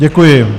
Děkuji.